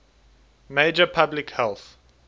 major public health